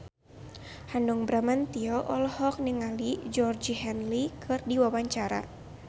Hanung Bramantyo olohok ningali Georgie Henley keur diwawancara